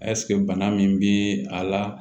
bana min bi a la